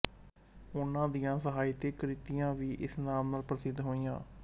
ਉਨ੍ਹਾਂ ਦੀਆਂ ਸਾਹਿਤਕ ਕ੍ਰਿਤੀਆਂ ਵੀ ਇਸ ਨਾਮ ਨਾਲ ਪ੍ਰਸਿੱਧ ਹੋਈਆਂ